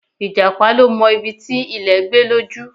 Ìjàpá ló mọ ibi ti ilè gbé lójú